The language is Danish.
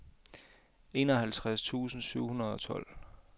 enoghalvtreds tusind syv hundrede og tolv